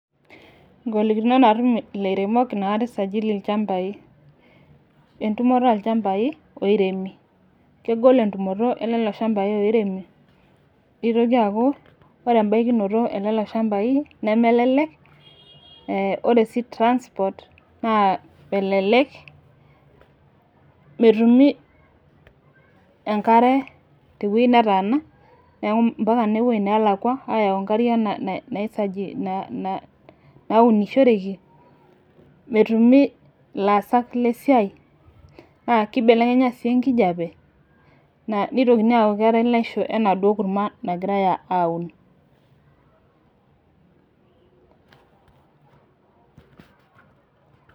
Golikinot natuum lairemok natuu eisajili ilchambai. Entumoto elchambai loiremi, kegol entumoto eloo ilchambai loiremi. Itokii aaku kore ebayi nikinotoo ele ilchambai nemelelek. Ore sii transport naa melelek. Metumii enkaare te wueji nataana neeku mpaaka nepoo nalaakwa ayau nkaarie nasajei naunusoreki. Metuumi lasaak le siai naa keibelekenya kijape neitokini aaku kera leisho ana doo ng'uruma nagirai auun.